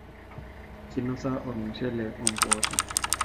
kinosa ormushele oo mboosho